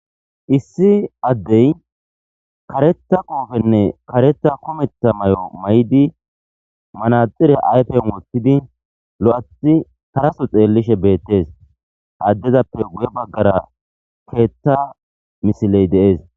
issi addey kareta qoofenne kareta kumeta may7o may7di manaxire ayfen wottidi lo7athi karaso xeellishe beettes haaddezappe guye baggara keetta misiley de'es